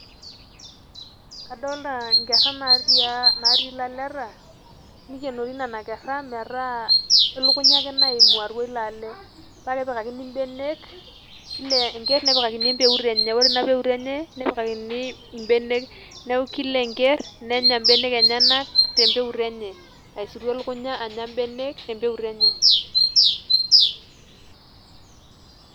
Kadolta inkerra natii, natii ilaleta, nikenori nena kerra metaa elukunya ake naimu atua ilo ale. Pa kepikakini benek, kila enker nepikakini empeut enye. Ore ina peut enye, nepikakini ibenek. Neeku kila enker, nenya ibenek enyanak tempeut enye. Aisuru elukunya anya benek tempeut enye.